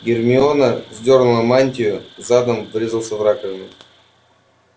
гермиона сдёрнула мантию задом врезался в раковину